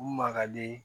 U ma kadi